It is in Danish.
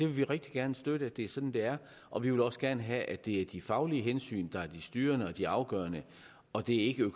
vil rigtig gerne støtte at det er sådan det er og vi vil også gerne have at det er de faglige hensyn der er de styrende og de afgørende og at det ikke er